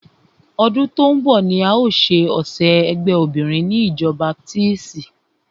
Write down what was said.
Ọdún tó ń bọ̀ ni a o ṣe ọ̀sẹ̀ ẹgbé obinrin ni ìjọ baptisti.